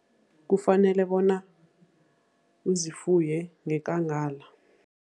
Kufanele bona uzifuye ngeKangala.